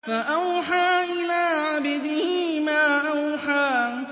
فَأَوْحَىٰ إِلَىٰ عَبْدِهِ مَا أَوْحَىٰ